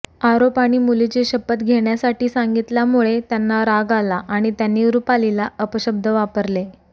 आरोप आणि मुलीची शपथ घेण्यासाठी सांगितल्यामुळे त्यांना राग आला आणि त्यांनी रुपालीला अपशब्द वापरले